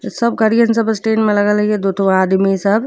सब गड़ियन सब स्टैंड में लगल हई। दुठो आदमी सब --